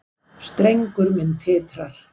Strengur minn titrar.